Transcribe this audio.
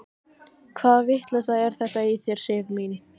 Hvaða vitleysa er þetta í þér, Sif mín!